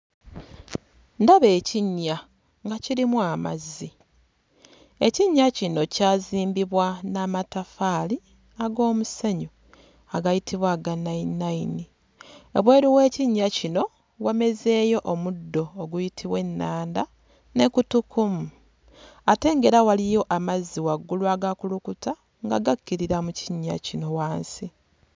Ndaba ekinnya nga kirimu amazzi. Ekinnya kino kyazimbibwa n'amataffaali ag'omusenyu agayitibwa aga nnayininnayini. Wabweru w'ekinnya kino wamezeeyo omuddo oguyitibwa ennanda ne kutukumu ate ng'era waliyo amazzi waggulu agakulukuta nga gakkirira mu kinnya kino wansi.